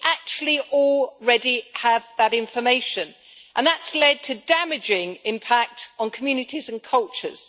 We actually already have that information, and that has led to a damaging impact on communities and cultures.